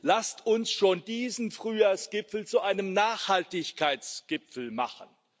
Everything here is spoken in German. Lasst uns schon diesen Frühjahrsgipfel zu einem Nachhaltigkeitsgipfel machen!